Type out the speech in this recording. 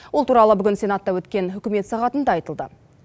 ол туралы бүгін сенатта өткен үкімет сағатында айтылды